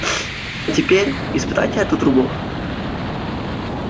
а теперь испытайте эту трубу